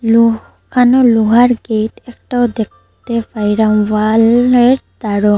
লুকানো লোহার গেট একটাও দেখতে পাইরাম ওয়ালের ধারও।